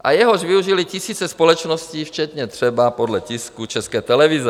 a jehož využily tisíce společností včetně třeba - podle tisku - České televize.